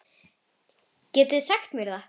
Getið þið sagt mér það?